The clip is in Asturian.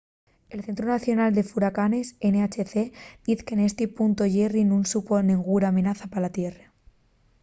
el centru nacional de furacanes nhc diz que nesti puntu jerry nun supón nenguna amenaza pa la tierra